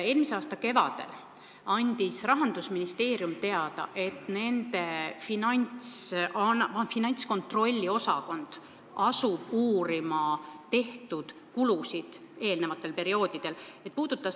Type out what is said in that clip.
Eelmise aasta kevadel andis Rahandusministeerium teada, et nende finantskontrolli osakond asub uurima eelmistel perioodidel tehtud kulusid.